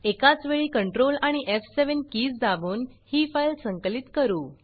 एकाचवेळी controlकंट्रोल आणि एफ7 किज् दाबून ही फाइल संकलित करू